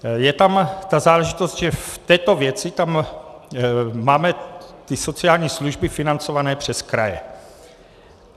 Je tam ta záležitost, že v této věci tam máme ty sociální služby financované přes kraje.